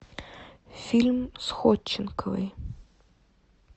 фильм с ходченковой